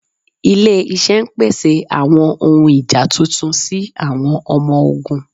Ịlẹ̀-iṣẹ̀ n pèsè àwọn ọ̀hun ìjá tuntun sí àwọn ọmọ-ọ̀gùn.